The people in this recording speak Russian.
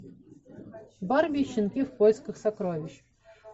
барби и щенки в поисках сокровищ